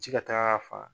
Ji ka taga ka faga